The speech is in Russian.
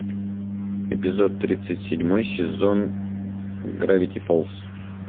эпизод тридцать седьмой сезон гравити фолз